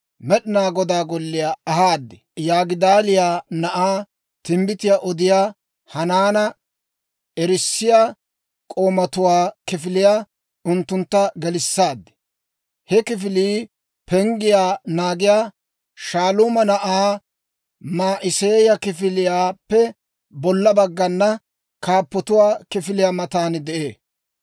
Med'inaa Godaa Golliyaa ahaad. Yigidaaliyaa na'aa, timbbitiyaa odiyaa Hanaana erissiyaa k'oomatuwaa kifiliyaa unttuntta gelissaad. He kifilii penggiyaa naagiyaa Shaaluuma na'aa Ma'iseeya kifiliyaappe bolla baggana, kaappotuwaa kifiliyaa matan de'ee.